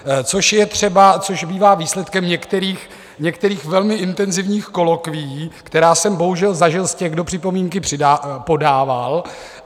což bývá výsledkem některých velmi intenzívních kolokvií, která jsem bohužel zažil z těch, kdo připomínky podával.